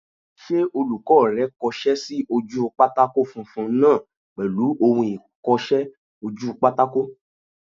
Ṣé olùkọ́ rẹ kọsẹ́ sí ojú pátákó funfun náà pèlú ohun ìkọsẹ́-ojúpátákó?